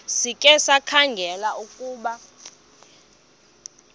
sikhe sikhangele ukuba